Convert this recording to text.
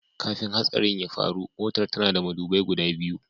Kafin hatsarin ya faru, Motar tana da madubai guda biyu.